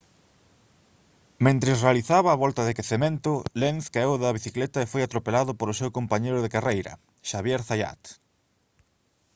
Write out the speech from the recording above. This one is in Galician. mentres realizaba a volta de quecemento lenz caeu da bicicleta e foi atropelado polo seu compañeiro de carreira xavier zayat